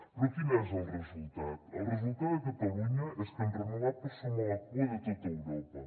però quin és el resultat el resultat de catalunya és que en renovables som a la cua de tot europa